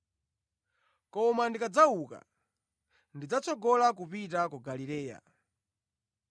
Koma ndikadzauka, ndidzatsogola kupita ku Galileya.”